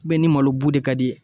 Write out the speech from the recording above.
ni malo bu de ka di ye.